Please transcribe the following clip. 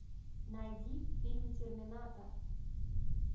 найди фильм терминатор